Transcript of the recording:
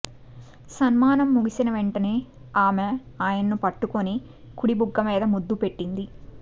సన్మానం ముగిసిన వెంటనే ఆమె ఆయన్ను పట్టుకుని కుడి బుగ్గ మీద ముద్దు పెట్టింది